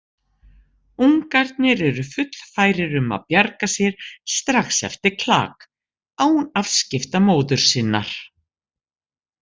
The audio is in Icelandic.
Ungarnir eru fullfærir um að bjarga sér strax eftir klak, án afskipta móður sinnar.